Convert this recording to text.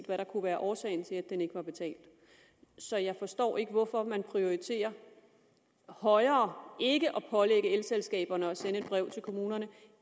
hvad der kunne være årsagen til at den ikke var betalt så jeg forstår ikke hvorfor man prioriterer højere ikke at pålægge elselskaberne at sende et brev til kommunerne